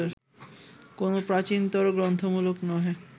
কোন প্রাচীনতর-গ্রন্থমূলক নহে